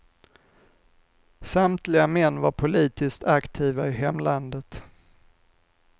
Samtliga män var politiskt aktiva i hemlandet.